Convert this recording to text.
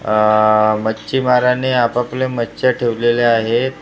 आह मच्छीमाराने आपापल्या मच्छ्या ठेवलेल्या आहेत .